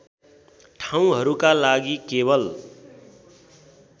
ठाउँहरूका लागि केवल